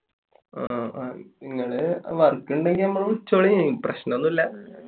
നിങ്ങള് വർക്ക് എന്തേലും ഉണ്ടെങ്കിൽ വിളിച്ചോളീ. എനിക്ക് പ്രശ്നമൊന്നുമില്ല.